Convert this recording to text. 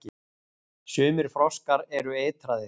Sumir froskar eru eitraðir.